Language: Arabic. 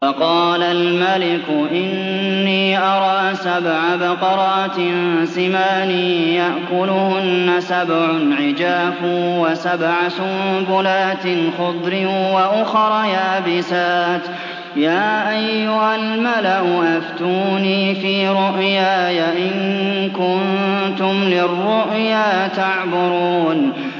وَقَالَ الْمَلِكُ إِنِّي أَرَىٰ سَبْعَ بَقَرَاتٍ سِمَانٍ يَأْكُلُهُنَّ سَبْعٌ عِجَافٌ وَسَبْعَ سُنبُلَاتٍ خُضْرٍ وَأُخَرَ يَابِسَاتٍ ۖ يَا أَيُّهَا الْمَلَأُ أَفْتُونِي فِي رُؤْيَايَ إِن كُنتُمْ لِلرُّؤْيَا تَعْبُرُونَ